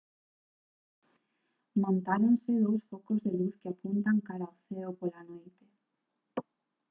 montáronse dous focos de luz que apuntan cara ao ceo pola noite